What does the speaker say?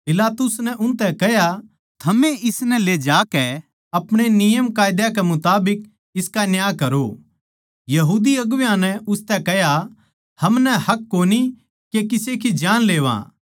पिलातुस नै उनतै कह्या थमए इसनै ले जाकै अपणे नियमकायदा कै मुताबिक उसका न्याय करो यहूदी अगुवां नै उसतै कह्या हमनै हक कोनी के किसे की जानलेवां